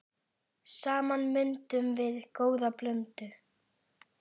Saman myndum við góða blöndu.